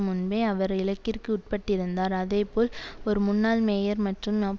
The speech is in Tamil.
முன்பே அவர் இலக்கிற்கு உட்பட்டிருந்தார் அதே போல் ஒரு முன்னாள் மேயர் மற்றும்